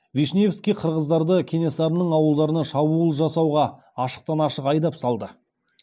вишневский қырғыздарды кенесарының ауылдарына шабуыл жасауға ашықтан ашық айдап салды